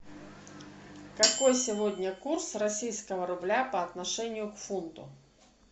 какой сегодня курс российского рубля по отношению к фунту